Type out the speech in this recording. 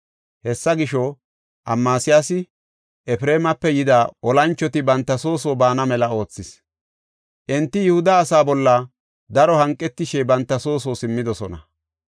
Hessa gisho, Amasiyaasi Efreemape yida olanchoti banta soo soo baana mela oothis. Enti Yihuda asaa bolla daro hanqetishe banta soo soo simmidosona.